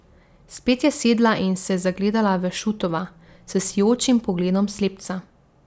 Spet je sedla in se zagledala v Šutova s sijočim pogledom slepca.